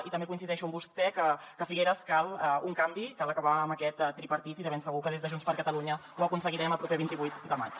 i també coincideixo amb vostè que a figueres cal un canvi cal acabar amb aquest tripartit i de ben segur que des de junts per catalunya ho aconseguirem el proper vint vuit de maig